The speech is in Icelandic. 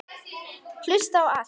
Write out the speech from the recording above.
Hlusta á allt!!